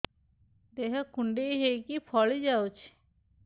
ଦେହ କୁଣ୍ଡେଇ ହେଇକି ଫଳି ଯାଉଛି